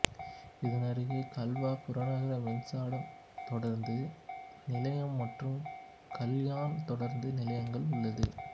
இதனருகே கல்வா புறநகர் மின்சார தொடருந்து நிலையம் மற்றும் கல்யாண் தொடருந்து நிலையங்கள் உள்ளது